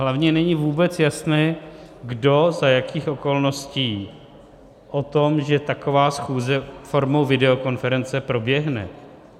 Hlavně není vůbec jasné, kdo za jakých okolností o tom, že taková schůze formou videokonference proběhne.